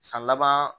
San laban